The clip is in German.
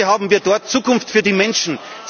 Heute haben wir dort Zukunft für die Menschen.